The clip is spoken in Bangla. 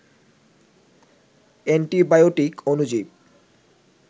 অ্যান্টিবায়োটিক অণুজীব